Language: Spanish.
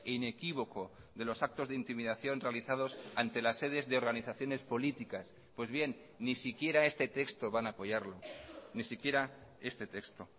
inequívoco de los actos de intimidación realizados ante las sedes de organizaciones políticas pues bien ni siquiera este texto van a apoyarlo ni siquiera este texto